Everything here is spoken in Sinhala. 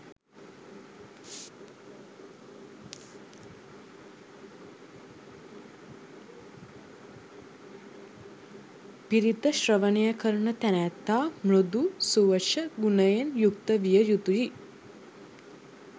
පිරිත ශ්‍රවණය කරන තැනැත්තා මෘදු, සුවච ගුණයෙන් යුක්ත විය යුතුයි.